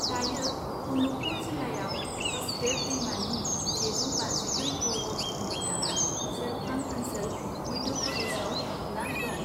दायो, अनुपपुर जिल्लायाव हसदेव दैमानि सेजौ बाजिब्रै बर्ग किल'मिटारआ सेरफां ओनसोल मध्य प्रदेशाव हाबना दं।